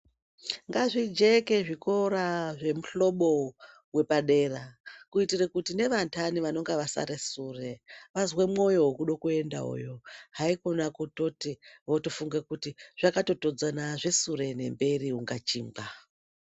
Ngazvijeke zvikora zvemuhlobo wepadera kuitire kuti nevantani vanonga vasare sure vazwe mwoyo wekuendawoyo haikona kutoti votofunge kuti zvakatotodzana zvesure nemberi kunga chingwa.